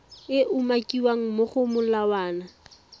e umakiwang mo go molawana